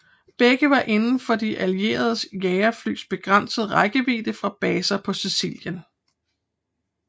Begge var inden for de allierede jagerflys begrænsede rækkevidde fra baser på Sicilien